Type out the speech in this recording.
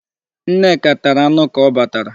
Nneka tara anụ ka ọ batara.